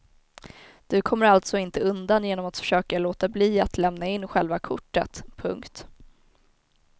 Du kommer alltså inte undan genom att försöka låta bli att lämna in själva kortet. punkt